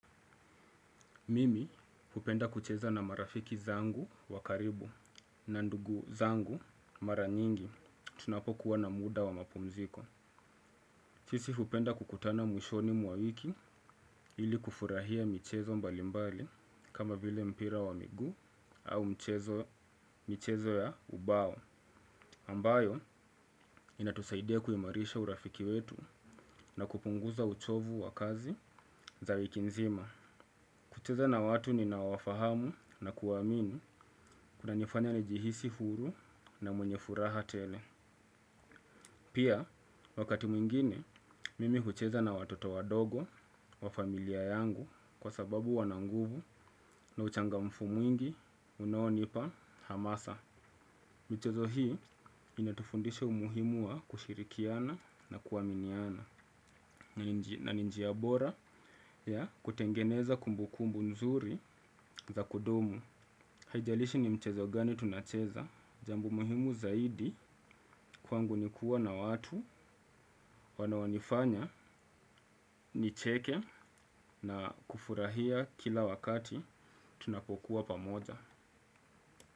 Mimi hupenda kucheza na marafiki zangu wa karibu na ndugu zangu mara nyingi tunapokuwa na muda wa mapumziko. Sisi hupenda kukutana mwishoni mwa wiki ili kufurahia michezo mbalimbali kama vile mpira wa miguu au mchezo ya ubao. Ambayo inatusaidia kuimarisha urafiki wetu na kupunguza uchovu wa kazi za wiki nzima. Kucheza na watu ninaowafahamu na kuwaamini kunanifanya nijihisi huru na mwenye furaha tele. Pia, wakati mwingine, mimi hucheza na watoto wadogo wa familia yangu kwa sababu wana nguvu na uchangamfu mwingi unaonipa hamasa. Michezo hii inatufundisha umuhimu wa kushirikiana na kuaminiana. Na ni njia bora ya kutengeneza kumbu kumbu nzuri za kudumu. Haijalishi ni mchezo gani tunacheza. Jambo muhimu zaidi kwangu ni kuwa na watu wanaonifanya nicheke na kufurahia kila wakati tunapokuwa pamoja.